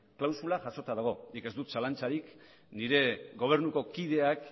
klausula jasota dago nik ez dut zalantzarik nire gobernuko kideak